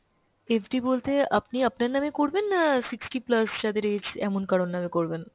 FD বলতে আপনি আপনার নামে করবেন না sixty plus যাদের age এমন কারোর নামে করবেন?